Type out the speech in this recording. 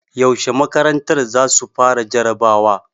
Yaushe makarantar za su fara jarabawa?